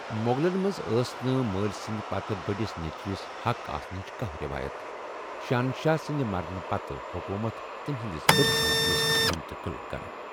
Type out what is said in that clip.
مۄغلن منز ٲس نہٕ مٲلۍ سٕندِ پتہٕ بٔڈِس نیچِوِس حق آسنچ كانٛہہ ریوایت، شہنشاہ سٕندِ مرنہٕ پتہٕ حكومت تٔمۍ سٕندِس بٔڈِس نیچِوِس منتقل كرٕنۍ ۔